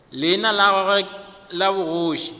leina la gagwe la bogoši